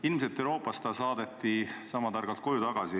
Ilmselt saadeti ta Euroopast sama targalt koju tagasi.